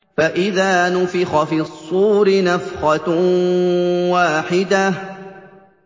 فَإِذَا نُفِخَ فِي الصُّورِ نَفْخَةٌ وَاحِدَةٌ